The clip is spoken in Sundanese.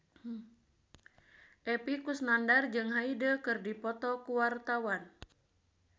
Epy Kusnandar jeung Hyde keur dipoto ku wartawan